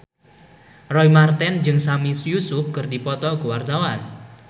Roy Marten jeung Sami Yusuf keur dipoto ku wartawan